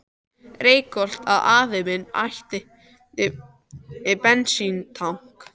Reykholti, að afi minn ætti bensíntank.